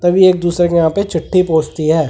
तभी एक दूसरे के यहां पे चिट्ठी पहुंचती है ।